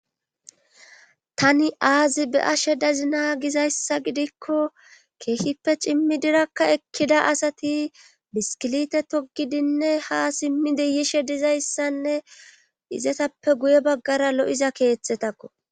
Tani aazi be ashe dazi na gizayssa gidikko keeshipfe cimmi dirakka ekkida asati biskilite togidinne ha simmi deyishe dizayssanne izetappe guye baggara lo7iza keettetakko.